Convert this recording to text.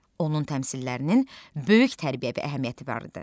Onun təmsillərinin böyük tərbiyəvi əhəmiyyəti vardı.